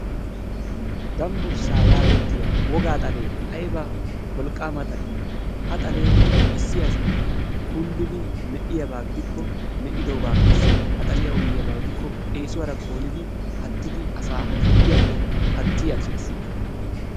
Dambburssaa yaagettiya wogaa xalee ayba wolqqaama xalee! Ha xalee issi asi kunddidi meqqiyabaa gidikko meqqidoogaa qassi ha xaliya uyiyaba gidikko eesuwara koolidi pattidi asaa harggiyappe patti aggees.